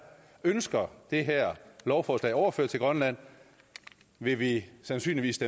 ønsker det her lovforslag overført til grønland vil vi sandsynligvis